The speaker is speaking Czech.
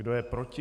Kdo je proti?